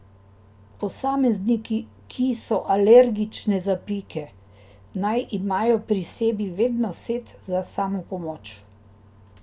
Posamezniki, ki so alergične za pike, naj imajo pri sebi vedno set za samopomoč.